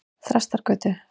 Þrastargötu